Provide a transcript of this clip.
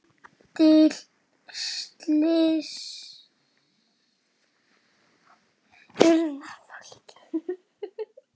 Lítil slys urðu á fólki.